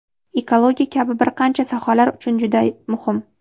ekologiya kabi bir qancha sohalar uchun juda muhim.